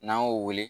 N'an y'o wele